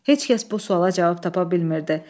Heç kəs bu suala cavab tapa bilmirdi.